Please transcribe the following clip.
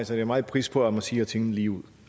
sætter meget pris på at man siger tingene lige ud